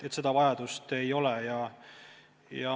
Seda vajadust ei ole.